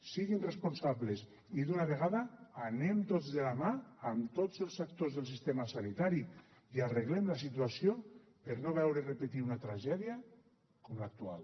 siguin responsables i d’una vegada anem tots de la mà amb tots els actors del sistema sanitari i arreglem la situació per a no veure repetir una tragèdia com l’actual